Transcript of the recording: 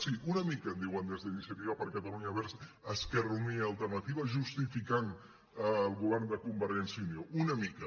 sí una mica em diuen des d’iniciativa per catalunya verds esquerra unida i alternativa justificant el govern de convergència i unió una mica